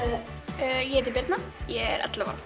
ég heiti Birna ég er ellefu ára